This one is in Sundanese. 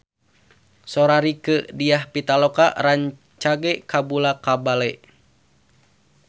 Sora Rieke Diah Pitaloka rancage kabula-bale